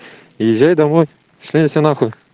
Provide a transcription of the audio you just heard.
езжай домой шли они все нахуй